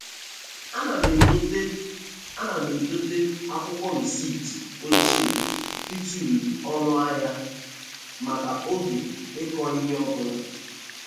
Ana m edote Ana m edote akwụkwọ recipt ochie ịtụle oọnụ ahia maka oge ịkọ ihe ọbụla.